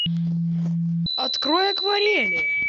открой акварели